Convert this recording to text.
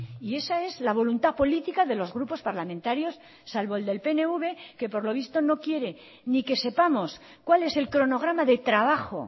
y esa es la voluntad política de los grupos parlamentarios salvo el del pnv que por lo visto no quiere ni que sepamos cuál es el cronograma de trabajo